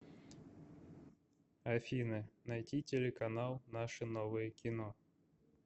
афина найти телеканал наше новое кино